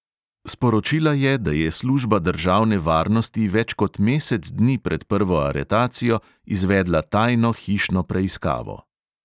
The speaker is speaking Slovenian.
Sporočila je, da je služba državne varnosti več kot mesec dni pred prvo aretacijo izvedla tajno hišno preiskavo.